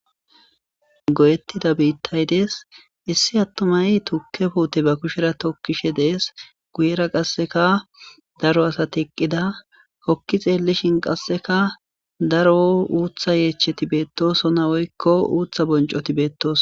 Goyettida biittay des issi attumay tukke puute ba kushera tokkishe dees guyera qasseka daro asat eqqida kokki xeellishin qasseka daro uutha yeecheti beettosona woykko uutha boncoti beettoos.